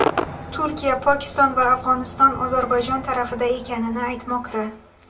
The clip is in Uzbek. Turkiya, Pokiston va Afg‘oniston Ozarbayjon tarafida ekanini aytmoqda.